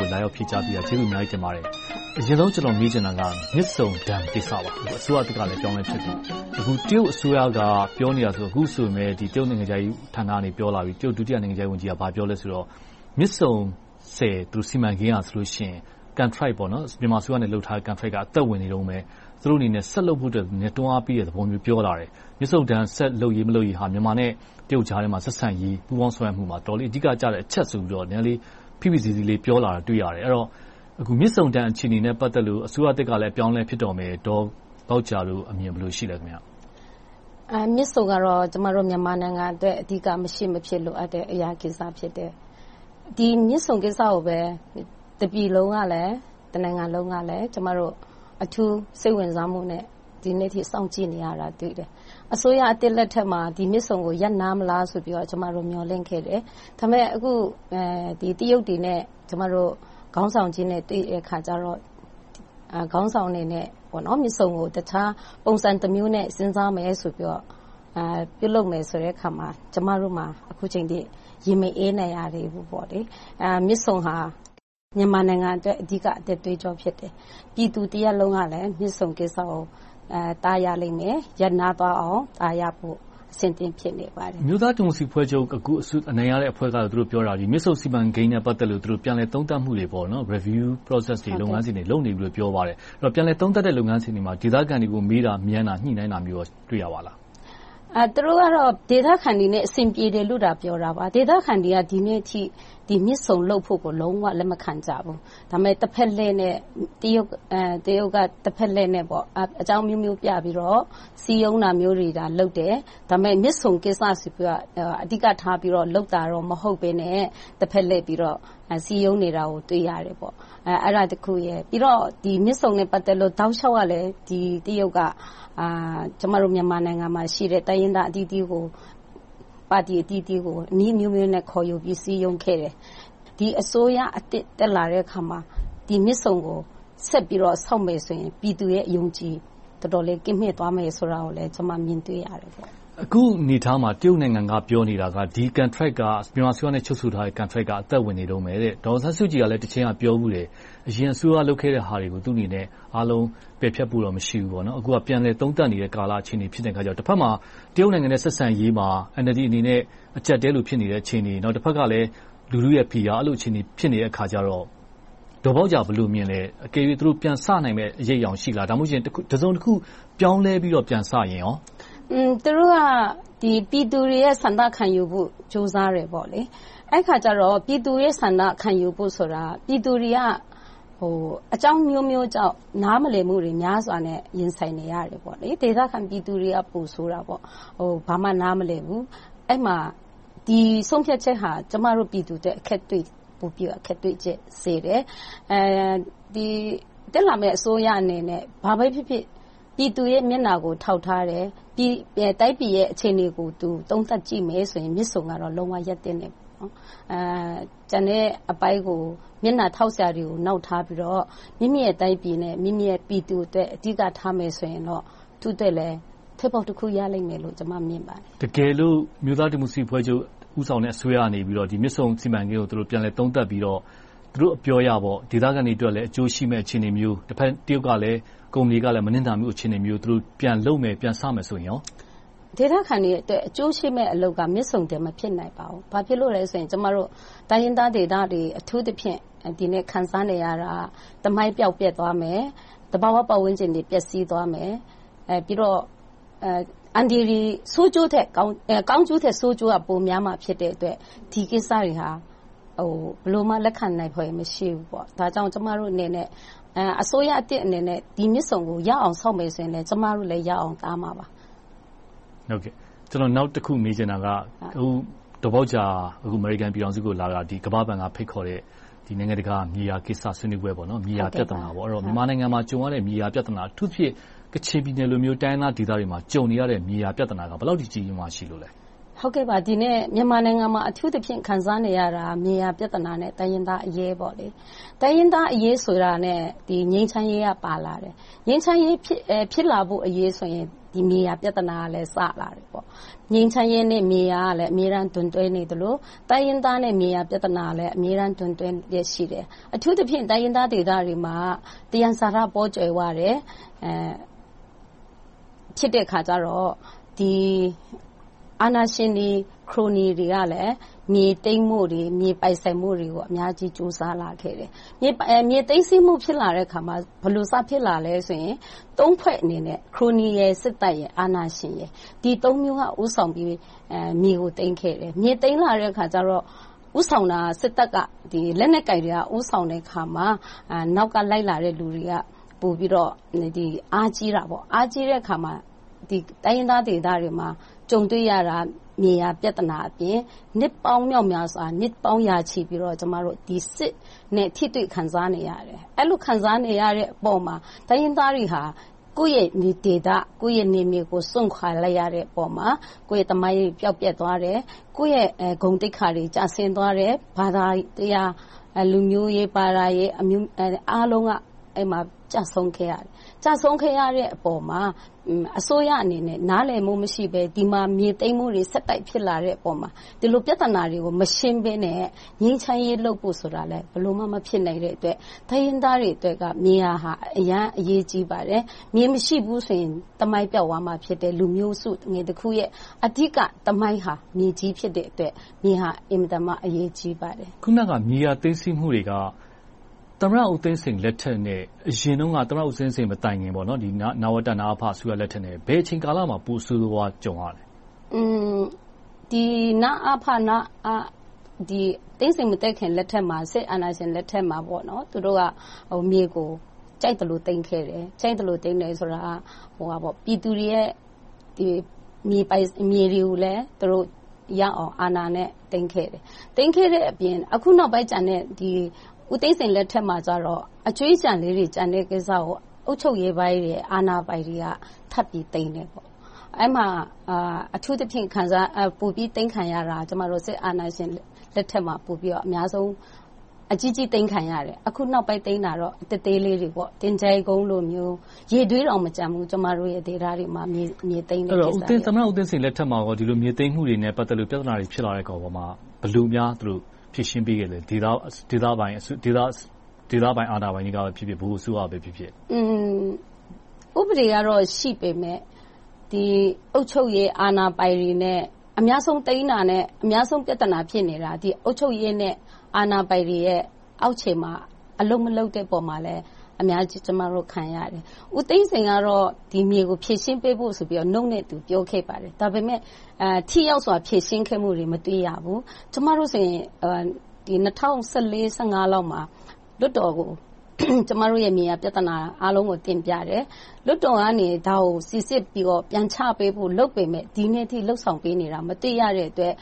ှုကို လာရောက်ဖြေကြားပေးတာ ကျေးဇူးအများကြီး တင်ပါတယ်။ အရင်ဆုံး မေးချင်တာက မြစ်ဆုံရေကာတာကိစ္စပါ။ အခု အစိုးရသစ်ကလည်း အပြောင်းအလဲဖြစ်ပြီ။ အခု တရုတ်အစိုးရက ပြောလာပြီ။ တရုတ် ဒုတိယနိုင်ငံခြားရေးဝန်ကြီးက ဘာပြောလဲဆိုတော့ မြစ်ဆုံဆည်စီမံကိန်းကဆိုရင် မြန်မာအစိုးရနဲ့ လုပ်ထားတဲ့ Contactor က သက်ဝင်နေတုန်းပဲ။ သူတို့အနေနဲ့ ဆက်လုပ်ဖို့ တွန်းအားပေးတဲ့သဘောမျိုး ပြောလာတယ်။ မြစ်ဆုံရေကာတာ လုပ်ရေးမလုပ်ရေးက မြန်မာနဲ့ တရုတ်ကြားထဲမှာ ဆက်ဆံရေး ပူးပေါင်းဆောင်ရွက်မှုမှာ အတော်လေး အဓိကကျတဲ့အချက်ဆိုပြီးတော့ နည်းနည်းလေး ဖိဖိစီးစီးလေး ပြောလာတာကို တွေ့ရတယ်။ အဲဒီတော့ မြစ်ဆုံရေကာတာနဲ့ ပတ်သက်လို့ အစိုးရသစ်ကလည်း အပြောင်းအလဲ ဖြစ်တော့မယ်။ ဒေါ်ဘောက်ဂျာတို့အမြင် ဘယ်လို ရှိသလဲ။ မြစ်ဆုံကတော့ ကျမတို့ မြန်မာနိုင်ငံအတွက် မရှိမဖြစ် လိုအပ်တဲ့ကိစ္စ ဖြစ်တယ်။ ဒီမြစ်ဆုံကိစ္စကိုပဲ တပြည်လုံး၊ တနိုင်ငံလုံးက အထူးစိတ်ဝင်စားမှုနဲ့ ဒီနေ့အထိ စောင့်ကြည့်နေကြတာကို တွေ့တယ်။ အစိုးရသစ်လက်ထက်မှာ ဒီမြစ်ဆုံကို ရပ်နားမလားဆိုပြီး ကျမတို့ မျှော်လင့်ခဲ့တယ်။ ဒါပေမဲ့ အခု တရုတ်တွေနဲ့ ကျမတို့ ခေါင်းဆောင်ကြီးနဲ့ တွေ့တဲ့အခါကြတော့ မြစ်ဆုံကို တခြားပုံစံတမျိုးနဲ့ စဉ်းစားမယ်ဆိုပြီးတော့ ပြုလုပ်မယ်ဆိုတဲ့အခါမှာ ကျမတို့မှာ အခုအချိန်အထိ ရင်မအေးနိုင်ရသေးဘူး။ မြစ်ဆုံဟာ မြန်မာနိုင်ငံအတွက် အဓိက အသက်သွေးကြော မြစ်တယ်။ ပြည်သူတရပ်လုံးကလည်း မြစ်ဆုံကိစ္စကို ရပ်နားသွားအောင် တားရဖို့ အဆင်သင့် ဖြစ်နေပါတယ်။ အမျိုးသားဒီမိုကရေစီအဖွဲ့ချုပ် အနိုင်ရတဲ့ သူတို့ကတော့ ပြောနေပါတယ် - မြစ်ဆုံကိစ္စနဲ့ ပတ်သက်လို့ သူတို့ Review Process တွေ လုပ်ငန်းစဉ်တွေ လုပ်နေပါပြီလို့ ပြောတယ်။ ပြန်လည်သုံးသပ်တဲ့ လုပ်ငန်းစဉ်တွေမှာ ဒေသခံတွေကို မေးတာမြန်းတာ ညှိနှိုင်းတာမျိုးတွေ တွေ့ရပါသလား။ သူတို့ကတော့ ဒေသခံတွေနဲ့ အဆင်ပြေတယ်လို့သာ ပြောတာပါ။ ဒေသခံတွေက ဒီနေ့အထိ မြစ်ဆုံလုပ်ဖို့ကို လုံးဝလက်မခံကြဘူး။ ဒါပေမဲ့ တရုတ်က တဖက်လှည့်နဲ့ အကြောင်းအမျိုးမျိုးပြပြီးတော့ စည်းရုံးတာမျိုးတွေ လုပ်တယ်။ မြစ်ဆုံကိစ္စဆိုပြီးတော့ အဓိကထား လုပ်တာမျိုး မဟုတ်ဘဲနဲ့ တဖက်လှည့်ပြီးတော့ စည်းရုံးနေတာကို တွေ့ရတယ်။ အဲဒါက တခု။ နောက် မြစ်ဆုံနဲ့ ပတ်သက်လို့ တောက်လျှောက်က တရုတ်က ကျမတို့ မြန်မာနိုင်ငံမှာရှိတဲ့ တိုင်းရင်းသားအသီးသီးကို၊ ပါတီအသီးသီးကို နည်းအမျိုးမျိုးနဲ့ ခေါ်ယူပြီး စည်းရုံးခဲ့တယ်။ ဒီအစိုးရသစ် တက်လာတဲ့အခါမှာ မြစ်ဆုံကို ဆက်ပြီးတော့ ဆောက်မယ်ဆိုရင် ပြည်သူရဲ့ အယုံအကြည် တော်တော်လေး ကင်းမဲ့သွားမှာကို ကျမ မြင်တွေ့ရတယ်။ အခုအနေအထားမှာ တရုတ်နိုင်ငံက ပြောနေတာက ဒီ မြန်မာအစိုးရနဲ့ ချုပ်ဆိုထားတဲ့ Contract က သက်ဝင်နေတုန်းပဲတဲ့။ ဒေါ်အောင်ဆန်းစုကြည်က တချိန်က ပြောဖူးတယ်။ အရင်အစိုးရ လုပ်ခဲ့တဲ့ဟာတွေကို သူ့အနေနဲ့ အားလုံးပယ်ဖျက်မှုတော့ မရှိဘူး။ အခုက ပြန်လည်သုံးသပ်နေတဲ့ကာလ အခြေအနေ ဖြစ်နေတော့ တဖက်မှာ တရုတ်နိုင်ငံနဲ့ ဆက်ဆံရေးမှာ NLD အနေနဲ့ အကြပ်အတည်းလို့ ဖြစ်နေတဲ့ အခြေအနေ။ တဖက်ကလဲ လူထုရဲ့ ဖိအား။ အဲဒီလို အခြေအနေ ဖြစ်နေတဲ့အခါ ဒေါ်ဘောက်ဂျာ ဘယ်လိုမြင်လဲ။ သူတို့ ပြန်စနိုင်မယ့် အရိပ်အရောင်ရှိလား။ ဒါမှမဟုတ် တစုံတခု ပြောင်းလဲပြီးတော့ ပြန်စရင်ကော။ သူတို့က ပြည်သူတွေရဲ့ ဆန္ဒခံယူဖို့ ကြိုးစားတယ်။ အဲဒီအခါကြတော့ ပြည်သူတွေရဲ့ ဆန္ဒ ခံယူဖို့ဆိုတာ ပြည်သူတွေက အကြောင်းအမျိုးမျိုးကြောင့် နားမလည်မှုတွေ များစွာနဲ့ ရင်ဆိုင်နေရတယ်။ ဒေသခံပြည်သူတွေက ပိုဆိုးတာပေါ့။ ဘာမှ နားမလည်ဘူး။ အဲဒီမှာ ဒီဆုံးဖြတ်ချက်ဟာ ကျမတို့ပြည်သူအတွက် ပိုပြီးတော့ အခက်တွေ့စေတယ်။ တက်လာတဲ့ အစိုးရအနေနဲ့ ဘာပဲဖြစ်ဖြစ် ပြည်သူတွေရဲ့ မျက်နှာကို ထောက်ထားတယ်။ တိုင်းပြည်ရဲ့ အခြေအနေကို သုံးသပ်ကြည့်မယ်ဆိုရင်တော့ မြစ်ဆုံက လုံးဝရပ်သင့်တယ်။ ကျန်တဲ့အပိုင်းကို မျက်နှာထောက်ထားစရာတွေကို နောက်ထားပြီးတော့ မိမိရဲ့တိုင်ပြည်နဲ့ ပြည်သူအတွက် အဓိကထားမယ်ဆိုရင် သူ့အတွက်လည်း ထွက်ပေါက်တခု ရလိမ့်မယ်လို့ ကျမ မြင်ပါတယ်။ တကယ်လို့ အမျိုးသားဒီမိုကရေစီအဖွဲ့ချုပ် ဦးဆောင်တဲ့ အစိုးရက မြစ်ဆုံစီမံကိန်းကို ပြန်လည်သုံးသပ်ပြီးတော့ သူတို့ပြောအရ ဒေသခံတွေအတွက် အကျိုးရှိမယ့်အခြေအနေမျိုး၊ တဘက် တရုတ်ကလဲ ကုမ္ပဏီကလည်း မနစ်နာမယ့် အခြေအနေမျိုး ပြန်လုပ်မယ်၊ ပြန်စမယ်ဆိုရင်ကော.. ဒေသခံတွေအတွက် အကျိုးရှိမယ့်အလုပ်က မြစ်ဆုံ မဖြစ်နိုင်ပါဘူး။ ဘာဖြစ်လို့လဲဆိုတော့ ကျမတို့ တိုင်းရင်းသားဒေသတွေ အထူးသဖြင့် ခံစားနေရတာက သမိုင်းပျောက်ပျက်သွားမယ်။ သဘာဝပတ်ဝန်းကျင်တွေ ပျက်စီးသွားမယ်။ ကောင်းကျိုးထက် ဆိုးကျိုးက ပိုများမှာ ဖြစ်တဲ့အတွက် ဒီကိစ္စတွေက ဘယ်လိုမှ လက်ခံနိုင်စရာမရှိဘူး။ ဒါကြောင့် ကျမတို့အနေနဲ့ အစိုးရသစ်အနေနဲ့ ဒီမြစ်ဆုံကို ရအောင်ဆောက်မယ်ဆိုရင်လဲ ကျမတို့လည်း ရအောင်တားမှာပါ။ နောက်တခု မေးချင်တာက ဒေါ်ဘောက်ဂျာ အမေရိကန်ပြည်ထောင်စုကိုလာတာ ကမ္ဘာ့ဘဏ်က ဖိတ်ခေါ်တဲ့ နိုင်ငံတကာ မြေယာကိစ္စ ဆွေးနွေးပွဲ၊ မြေယာပြဿနာ။ မြန်မာနိုင်ငံမှာ ကြုံရတဲ့ မြေယာပြဿနာ။ အထူးသဖြင့် ကချင်ပြည်နယ်လို တိုင်းရင်းသားဒေသတွေမှာ ကြုံနေရတဲ့ မြေယာပြဿနာက ဘယ်လောက်ထိ ကြီးကြီးမားမား ရှိလို့လဲ။ အထူးသဖြင့် မြန်မာနိုင်ငံမှာ ခံစားနေရတာက မြေယာပြဿနာ နဲ့ တိုင်းရင်းသားအရေး။ တိုင်းရင်းသားအရေး ဆိုတာနဲ့ ငြိမ်းချမ်းရေးက ပါလာတယ်။ ငြိမ်းချမ်းရေး ဖြစ်လာဖို့အရေးဆိုရင် မြေယာပြဿနာကလည်း စလာတယ်။ ငြိမ်းချမ်းရေး နဲ့ မြေယာက အမြဲဒွန်တွဲနေသလို၊ တိုင်းရင်းသားနဲ့ မြေယာပြဿနာကလည်း အမြဲတမ်း ဒွန်တွဲလျှက်ရှိတယ်။ အထူးသဖြင့် တိုင်းရင်းသားဒေသတွေမှာ သယံဇာတတွေ ပေါကြွယ်ဝတယ် ဖြစ်တဲ့အခါကြတော့ အာဏာရှင်တွေ ခရိုနီတွေကလည်း မြေသိမ်းဖို့၊ ပိုင်ဆိုင်ဖို့တွေကို အများကြီး ကြိုးစားလာခဲ့တယ်။ မြေသိမ်းဆည်းမှု ဖြစ်လာတဲ့အခါမှာ ဘယ်လို စဖြစ်လာလဲဆိုရင် ဖွဲ့အနေနဲ့ ခရိုနီ၊ စစ်တပ်၊ အာဏာရှင် - ဒီသုံးမျိုးကို ဦးဆောင်ပြီး မြေကိုသိမ်းခဲ့တယ်။ မြေသိမ်းလာတဲ့အခါကြတော့ ဦးဆောင်တာက စစ်တပ်က လက်နက်ကိုင်တွေက ဦးဆောင်တဲ့အခါမှာ နောက်ကလိုက်လာတဲ့ လူတွေက ပိုပြီးတော့ အားကြီးတယ်။ အားကြီးတဲ့အခါမှာ တိုင်းရင်းသားဒေသတွေမှာ ကြုံတွေ့ရတာက မြေယာပြဿနာအပြင် နှစ်ပေါင်းမြောက်မြားစွာ နှစ်သုံးရာချီပြီးတော့ စစ်နဲ့ ထိတွေ့ခံစားနေရတယ်။ အဲဒီလို ခံစားနေရတဲ့အပေါ်မှာ တိုင်းရင်းသားတွေဟာ ကိုယ့်ရဲ့ဒေသ ကိုယ့်ရဲ့နယ်မြေကို စွန့်ခွါလိုက်ရတဲ့အပေါ်မှာ ကိုယ့်ရဲ့သမိုင်း ပျောက်ပျက်သွားတယ်။ ကိုယ့်ရဲ့ဂုဏ်သိက္ခာတွေ ကျဆင်းသွားတယ်။ ဘာသာတရား လူမျိုးရေး၊ ဘာသာရေးအမျိုးမျိုး အားလုံးက အဲဒီမှာ ကျဆုံးခဲ့ရတယ်။ ကျဆုံးခဲ့ရတဲ့အပေါ်မှာ အစိုးရအနေနဲ့ နားလည်မှုမရှိဘဲ၊ ဒီမှာ မြေသိမ်းမှုတွေ ဆက်တိုက်ဖြစ်လာတဲ့အပေါ်မှာ ဒီလို ပြဿနာတွေကို မရှင်းဘဲနဲ့ ငြိမ်းချမ်းရေးလုပ်ဖို့ဆိုတာ ဘယ်လိုမှ မဖြစ်နိုင်တဲ့အတွက် တိုင်းရင်းသားအတွက် မြေယာဟာ အင်မတန် အရေးကြီးတယ်။ မြေမရှိဘူးဆိုရင် သမိုင်းပျောက်၊ လူမျိုးစုတခုရဲ့ အဓိက သမိုင်းဟာ မြေကြီးဖြစ်တဲ့အတွက် မြေဟာ အင်မတန်မှ အရေးကြီးပါတယ်။ မြေယာသိမ်းဆည်းမှုတွေက သမ္မတဦးသိန်းစိန်လက်ထက်နဲ့ အရင်တုန်းက သမ္မတဦးသိန်းစိန်မတိုင်မီ နဝတ၊ နအဖ အစိုးရလက်ထက်ထက် ဘယ်အချိန်ကာလမှာ ပိုဆိုးဆိုးဝါးဝါး ကြုံရလဲ။ နအဖ၊ နဝတ သိန်းစိန်မတက်ခင်ကာလ စစ်အာဏာရှင်လက်ထက်မှာ မြေကို ကြိုက်သလို သိမ်းခဲ့တယ်။ ကြိုက်သလို သိမ်းခဲ့တယ်ဆိုတာ ပြည်သူတွေရဲ့ မြေတွေကိုလည်း သူတို့ရအောင် အာဏာနဲ့ သိမ်းခဲ့တယ်။ သိမ်းခဲ့တဲ့အပြင် အခုနောက်ပိုင်းကျန်တဲ့ ဦးသိန်းစိန်လက်ထက်မှာတော့ အကြွင်းအကျန်လေးတွေကို အုပ်ချုပ်ရေးပိုင်းတွေ၊ အာဏာပိုင်တွေက ထပ်ပြီးသိမ်းတယ်။ အဲဒီမှာ အထူးသဖြင့် ပိုပြီးသိမ်းခံရတာက စစ်အာဏာရှင်လက်ထက်မှာ အကြီးကြီးသိမ်းခံရတယ်။ အခုနောက်ပိုင်းသိမ်းတာကတော့ သေးသေးလေးတွေပေါ့။.. ရေတွင်းပါ မကျန်ဘူး ကျမတို့ဒေသတွေမှာ မြေသိမ်းတာက။ အဲဒီတော့ သမ္မတဦးသိန်းစိန်လက်ထက်မှာ ဒီလို မြေသိမ်းမှုတွေနဲ့ ပတ်သက်ပြီး ပြဿနာတွေ ဖြစ်လာတဲ့အပေါ်မှာ ဘယ်လိုများ ဖြေရှင်းပေးခဲ့လဲ။ ဒေသပိုင်း အာဏာပိုင်တွေကဖြစ်ဖြစ်၊ ဗဟိုအစိုးရပဲဖြစ်ဖြစ်.. ဥပဒေက ရှိပေမယ့် အုပ်ချုပ်ရေးအာဏာပိုင်တွေနဲ့ အများဆုံးသိမ်းတာနဲ့ အများဆုံး ဖြစ်နေတာ အုပ်ချုပ်ရေးနဲ့ အာဏာပိုင်တွေရဲ့ အောက်ခြေမှာ အလုပ်မလုပ်တဲ့ပေါ်မှာ အများကြီး ကျမတို့ ခံရတယ်။ ဦးသိန်းစိန်ကတော့ ဒီမြေကို ဖြေရှင်းပေးဖို့ဆိုပြီး နှုတ်နဲ့ သူပြောခဲ့ပါတယ်။ ဒါပေမဲ့ ထိရောက်စွာ ဖြေရှင်းမှုတွေ မတွေ့ရဘူး။ ကျမတို့ဆိုရင် ၂၀၁၄-၁၅ လောက်မှာ လွှတ်တော်ကို ကျမတို့ မြေယာပြဿနာကို တင်ပြတယ်။ လွှတ်တော်ကနေ ဒါကို စီစစ်ပြီးတော့ ပြန်ချပေးဖို့ လုပ်ပေမယ့် ဒီနေ့အထိ လုပ်ဆောင်ပေးနေတာ မတွေ့ရတဲ့အတွက်